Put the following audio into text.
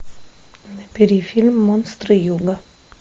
набери фильм монстры юга